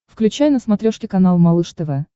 включай на смотрешке канал малыш тв